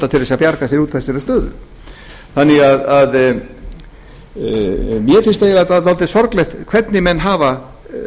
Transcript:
til að bjarga sér úr þessari stöðu þannig að mér finnst það dálítið sorglegt hvernig menn hafa